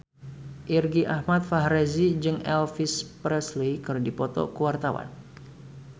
Irgi Ahmad Fahrezi jeung Elvis Presley keur dipoto ku wartawan